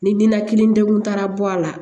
Ni ninakili degun taara bɔ a la